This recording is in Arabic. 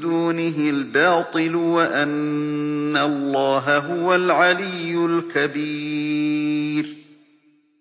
دُونِهِ الْبَاطِلُ وَأَنَّ اللَّهَ هُوَ الْعَلِيُّ الْكَبِيرُ